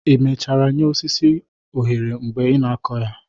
i mechara nye osisi onyere mgbe ị na-akụ ha?